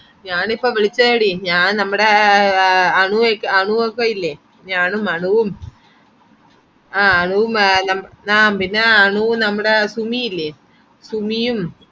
ഞാനിപ്പൊവിളിച്ചെയെടി ഞാൻ നമ്മുടെയ് എ അനു അനുയൊക്കെ അനുവൊക്കെയില്ലേ ഞാനും അനുവും ആ അനുവും നമ്മ ആ പിന്നെ അനുവും നമ്മുടെ സുമിയില്ലെ സുമിയും